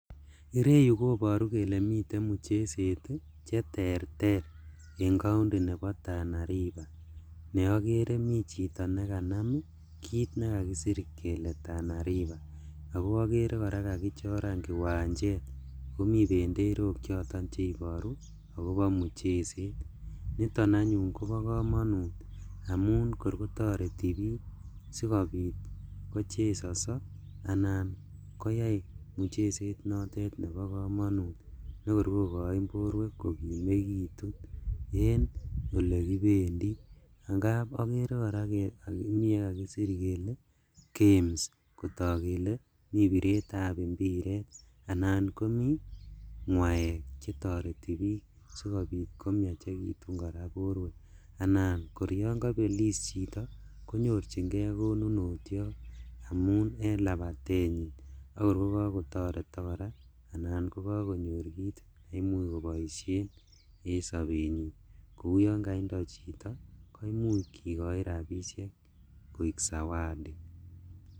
Ireyu koboru kole miten muchezet cheterter en county nebo Tana River neokere mi chito nekanam kit nekakisir kele Tana River, ako okere koraa kakichoran kiwanjet omi benderok choton cheiboru akobo muchezet, niton anyun kobo komonut amun kor kotoreti bik sikobit kochesoso anan koyai mucheset notet nebo komonut nekor kokoin borwek kokimekitu en olekibendi angap okere koraa yekakisir kele Games kotok kele mi biretab imbiret anan komi ngaek chetoreti bik sikobit komiachekitun koraa boruek, anan kor yon kobelis chito konyorjigee konunotiot amun en labatenyin akor kokokotoretok koraa anan kokokonyor kit neimuch koboishen en sobenyin, kou yon kaindo chito koimuch kikochi rabishek koik zawadi.